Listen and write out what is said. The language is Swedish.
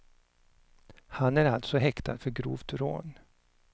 Han är alltså häktad för grovt rån.